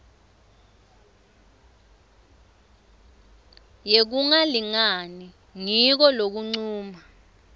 yekungalingani ngiko lokuncuma